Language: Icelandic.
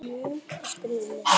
Fiskar eru með sporð.